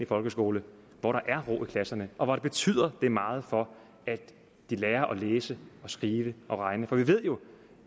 folkeskole hvor der er ro i klasserne og hvor betyder det meget for at de lærer at læse og skrive og regne for vi ved jo at